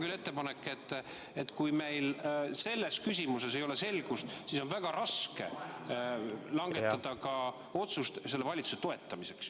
Mul on ettepanek, et kui meil selles küsimuses ei ole selgust, siis on väga raske langetada otsust selle valitsuse toetamiseks.